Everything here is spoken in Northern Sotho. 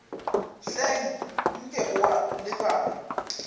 hleng nke o a lebala